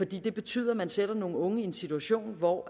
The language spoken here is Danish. det betyder at man sætter nogle unge i en situation hvor